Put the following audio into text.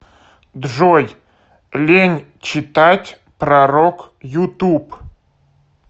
джой лень читать пророк ютуб